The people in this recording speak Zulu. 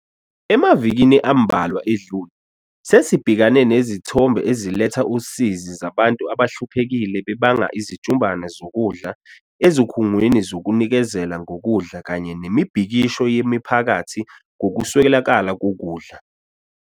Emavikini ambalwa edlule, sesibhekane nezithombe eziletha usizi zabantu abahluphekile bebanga izijumbana zokudla ezikhungweni zokunikezela ngokudla kanye nemibhikisho yemiphakathi ngokuswelakala kokudla.